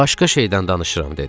Başqa şeydən danışıram dedi.